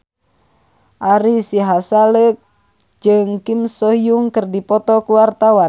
Ari Sihasale jeung Kim So Hyun keur dipoto ku wartawan